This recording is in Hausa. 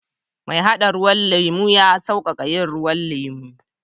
Mai hada ruwan lemu ya sauƙaƙa yin ruwan lemu.